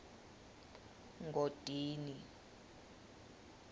ngodini